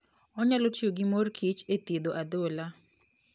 Onyalo tiyo gi mor kich e thiedho adhola.